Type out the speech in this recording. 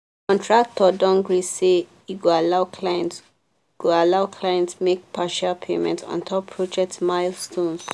contractor don gree say e go allow client go allow client make partial payments ontop project milestones.